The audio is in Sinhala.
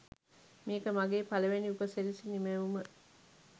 මේක මගේ පලවෙනි උපසිරැසි නිමැවුම